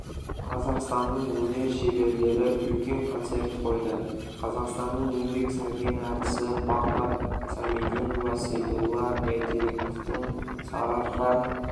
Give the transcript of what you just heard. қазақстанның өнер шеберлері үлкен концерт қойды қазақстанның еңбек сіңірген әртісі бағдат сәмединова сейдолла бәйтерековтің сарыарқа